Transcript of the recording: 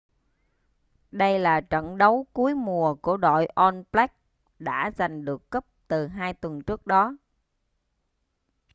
đây là trận đấu cuối mùa của đội all blacks đã giành được cúp từ hai tuần trước đó